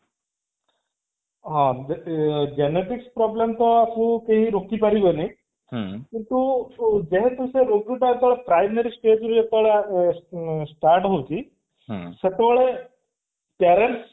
ହଁ ଏ genetics problems actually କେହି ରୋକି ପାରିବେନି କିନ୍ତୁ ଯେହେତୁ ସେ ରୋଗ ଟା primary stage ରୁ ଯେତେବେଳେ ଉଁ ଏଁ start ହଉଛି ସେତେବେଳେ parents